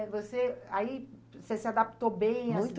Aí você aí você se adaptou bem à ci